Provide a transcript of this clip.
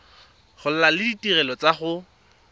gola le ditirelo tsa go